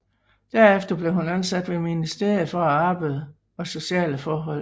Derefter blev hun ansat ved ministeriet for arbejde og sociale forhold